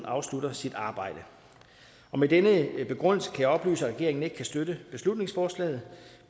afslutter sit arbejde med denne begrundelse kan jeg oplyse at regeringen ikke kan støtte beslutningsforslaget